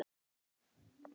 Ungur maður.